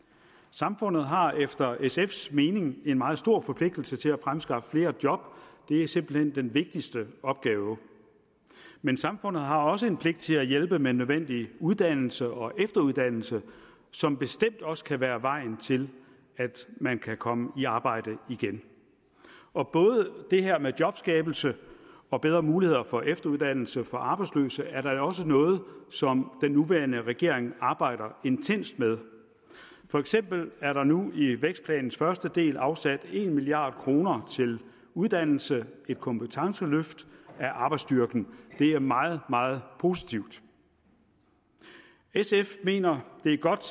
samfundet har efter sfs mening en meget stor forpligtelse til at fremskaffe flere job det er simpelt hen den vigtigste opgave men samfundet har også en pligt til at hjælpe med nødvendig uddannelse og efteruddannelse som bestemt også kan være vejen til at man kan komme i arbejde igen og både det her med jobskabelse og bedre mulighed for efteruddannelse for arbejdsløse er da også noget som den nuværende regering arbejder intenst med for eksempel er der nu i vækstplanens første del afsat en milliard kroner til uddannelse et kompetenceløft af arbejdsstyrken det er meget meget positivt sf mener det er godt